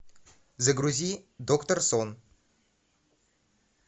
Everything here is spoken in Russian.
загрузи доктор сон